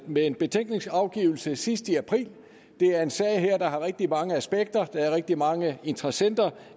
med en betænkningsafgivelse sidst i april det er en sag der har rigtig mange aspekter og der er rigtig mange interessenter